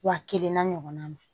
Wa kelen n'a ɲɔgɔnna